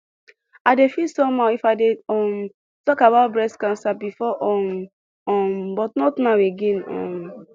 i dey feel somehow if i dey um talk about breast cancer before um um but not now again um